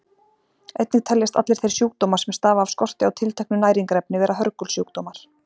Einnig teljast allir þeir sjúkdómar sem stafa af skorti á tilteknu næringarefni vera hörgulsjúkdómar.